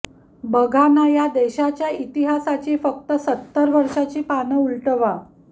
बघा ना या देशाच्या इतिहासाची फक्त सत्तरवर्षाची पानं उलटवा